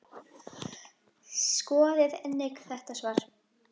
Skoðið einnig þetta svar